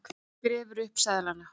Grefur upp seðlana.